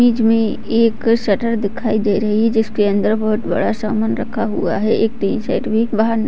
बीच में एक शटर नजर आ रही है जिसके अंदर बहुत बड़ा समान रखा हुआ हैं बाहर एक टीन सेट भी नजर आ रहा है।